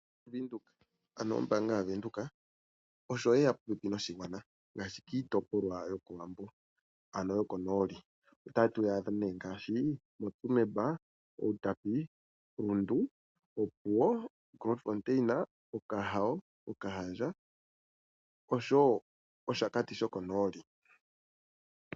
Oombanga yaVenduka osho ye ya popepi noshigwana. Miitopolwa yokOwambo, ano yokonooli otatu yi adha ngaashi moTsumeb, Uutapi, moRundu, Opuwo, Grootfontein, Okahandja, Okahao noshowo Oshakati shokonooli.